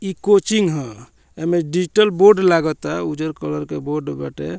इ कोचिंग ह एमए डिजिटल बोर्ड लगता उजर कलर के बोर्ड बाटे।